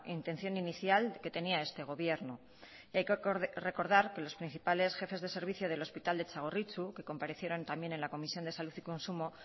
intención inicial que tenía este gobierno y hay que recordar que los principales jefes de servicios del hospital de txagorritxu que comparecieron también en la comisión de salud y consumo